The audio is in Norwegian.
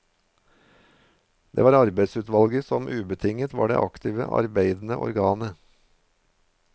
Det var arbeidsutvalget som ubetinget var det aktivt arbeidende organet.